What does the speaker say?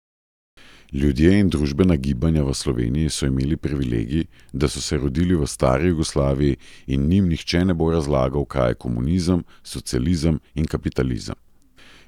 Ljudje in družbena gibanja v Sloveniji so imeli privilegij, da so se rodili v stari Jugoslaviji in njim nihče ne bo razlagal, kaj je komunizem, socializem in kapitalizem.